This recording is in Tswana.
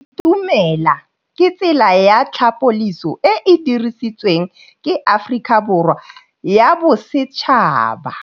Go itumela ke tsela ya tlhapolisô e e dirisitsweng ke Aforika Borwa ya Bosetšhaba.